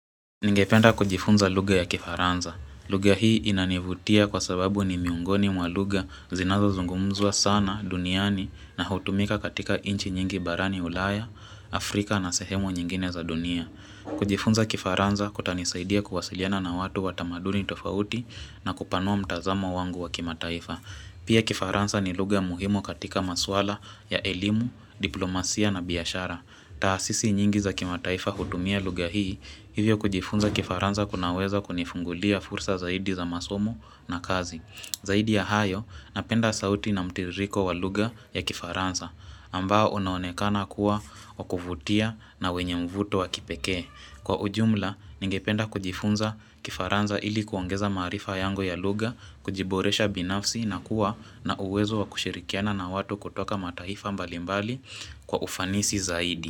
Ningependa kujifunza lugha ya kifaranza. Lugha hii inanivutia kwa sababu ni miongoni mwa lugha zinazozungumzwa sana duniani na hutumika katika inchi nyingi barani ulaya, Afrika na sehemu nyingine za dunia. Kujifunza kifaranza kutanisaidia kuwasiliana na watu wa tamaduni tofauti na kupanua mtazamo wangu wa kimataifa. Pia kifaranza ni lugha muhimu katika maswala ya elimu, diplomasia na biashara. Taasisi nyingi za kimataifa hutumia lugha hii, hivyo kujifunza kifaranza kunaweza kunifungulia fursa zaidi za masomo na kazi. Zaidi ya hayo, napenda sauti na mtiririko wa lugha ya kifaranza, ambao unaonekana kuwa wa kuvutia na wenye mvuto wa kipekee. Kwa ujumla, ningependa kujifunza kifaranza ili kuongeza maarifa yangu ya lugha, kujiboresha binafsi na kuwa na uwezo wa kushirikiana na watu kutoka mataifa mbalimbali kwa ufanisi zaidi.